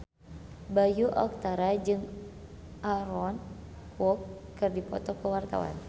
Bayu Octara jeung Aaron Kwok keur dipoto ku wartawan